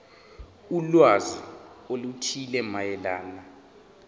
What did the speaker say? ulwazi oluthile mayelana